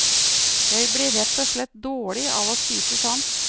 Jeg blir rett og slett dårlig av å spise sånt.